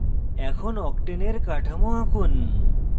এখন octane octane এর কাঠামো আঁকুন